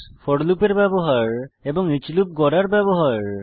four লুপের ব্যবহার এবং ইচ লুপ গড়ার ব্যবহার